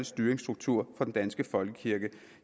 styringsstruktur for den danske folkekirke